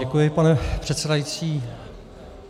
Děkuji, pane předsedající.